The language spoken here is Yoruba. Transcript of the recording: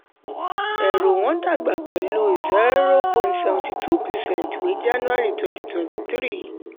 ẹ̀rò wọn dàgbà pẹ̀lú zero point three percent wé january twenty twenty-three